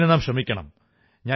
ഇതിനു നാം ശ്രമിക്കണം